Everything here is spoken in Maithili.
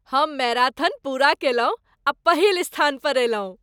हम मैराथन पूरा केलहुँ आ पहिल स्थान पर अयलहुँ।